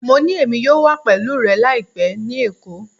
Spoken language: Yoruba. Mo ni Emi yoo wa pẹlu rẹ laipẹ ni Eko